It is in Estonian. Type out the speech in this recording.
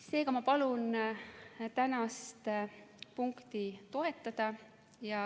Seega ma palun tänast eelnõu toetada.